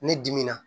Ne dimina